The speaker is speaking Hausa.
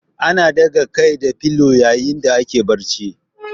Ana ɗaga Kai da filo yayin da ake barci